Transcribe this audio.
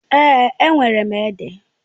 Èè, enwere m ede.